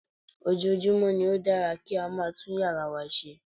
Ojoojúmọ́ ni ó dára kí a máa tún yàrá wa ṣe